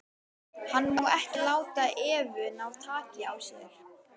Hann má ekki láta Evu ná taki á sér.